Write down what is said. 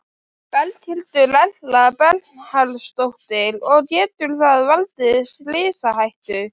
Berghildur Erla Bernharðsdóttir: Og getur það valdið slysahættu?